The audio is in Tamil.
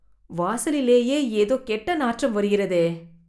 வாசலிலேயே ஏதோ கெட்ட நாற்றம் வருகிறதே